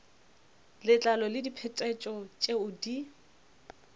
letlalo le diphetetšo tšeo di